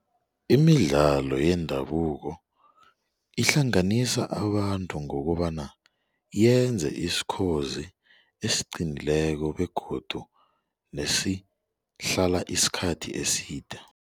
Imidlalo yendabuko ihlanganisa abantu ngokobana yenze isikhozi esiqinileko begodu nesihlala isikhathi eside.